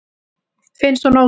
Finnst hún ótrúleg.